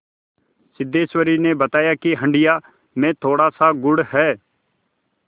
सिद्धेश्वरी ने बताया कि हंडिया में थोड़ासा गुड़ है